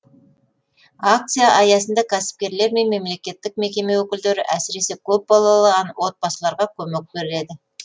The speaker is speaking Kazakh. акция аясында кәсіпкерлер мен мемлекеттік мекеме өкілдері әсіресе көпбалалы отбасыларға көмек береді